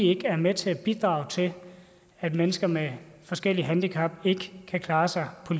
ikke er med til at bidrage til at mennesker med forskellige handicap ikke kan klare sig på